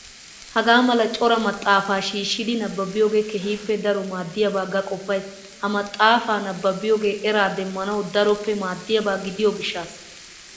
Hagaa mala coraa maxxaafa shiishshidi nababiyoogee keehippe daro maaddiyaaba ga qoppayis. Ha maxxaapa nababiyoogee eraa demmanawu daroppe maddiyaaba gidiyoo gishshaassa.